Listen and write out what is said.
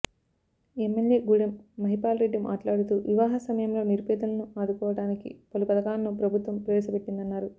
MLA Gudem Mahipal Reddy మాట్లాడుతూ వివాహ సమయంలో నిరుపేదలను ఆదుకోవడానికి పలు పధకాలను ప్రభుత్వం ప్రవేశ పెట్టిందన్నారు